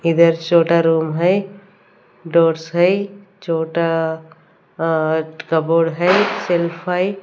इधर छोटा रूम है डोर्स है छोटा अ कबोर्ड है सेल्फ है।